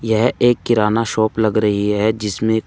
यह एक किराना शॉप लग रही है जिसमें--